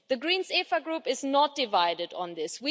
The Greens EFA Group is not divided on this.